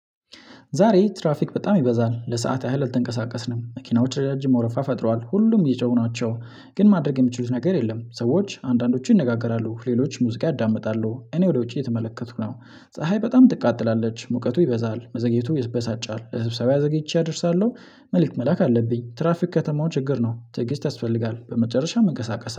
ዛሬ ትራፊክ በጣም ይበዛል ለሰአት ያህል አልተንቀሳቀስንም መኪናዎች ረጃጅም ወረፋ ፈጥሯል ሁሉም እየጮሁ ናቸው። ግን ማድረግ የምትችሉት ነገር የለም። ሰዎች አንዳንዶችን ይነጋገራሉ ሌሎች ሙዚቃ ያዳምጣሉ እኔ ወደ ውጪ እየተመለከትኩ ነው። ፀሀይ በጣም ትቃጥላለች ሙቀቱ ይበዛል መዘግየቱ ያበሳጫል ለስብሰባ ዘግይቼ እደርሳለሁ። መልእክት መላክ አለብኝ። ትራፊክ የከተማው ችግር ነው። ትዕግስት ያስፈልጋል በመጨረሻ ይንቀሳቀሳል